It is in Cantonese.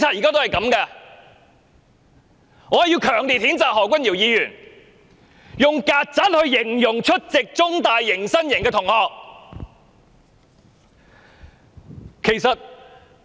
我必須強烈譴責何君堯議員以"曱甴"形容出席中大迎新營的學生。